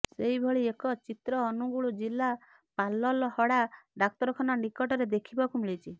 ସେହିଭଳି ଏକ ଚିତ୍ର ଅନୁଗୁଳ ଜିଲ୍ଲା ପାଲଲହଡା ଡାକ୍ତରଖାନା ନିକଟରେ ଦେଖିବାକୁ ମିଳିଛି